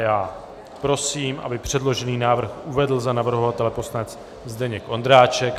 Já prosím, aby předložený návrh uvedl za navrhovatele poslanec Zdeněk Ondráček.